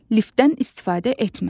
Liftdən istifadə etmə.